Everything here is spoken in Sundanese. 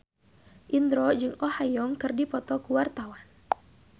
Indro jeung Oh Ha Young keur dipoto ku wartawan